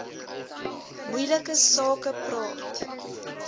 moeilike sake praat